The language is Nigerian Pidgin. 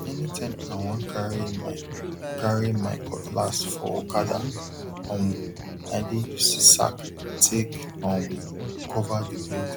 anytime i wan carry my carry my cutlass for okada um i dey use sack take um cover the blade